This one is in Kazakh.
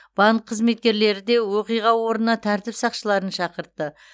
банк қызметкерлері де оқиға орнына тәртіп сақшыларын шақыртты